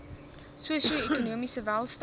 sosio ekonomiese welstand